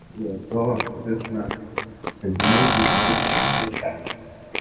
соответственно эти деньги получаю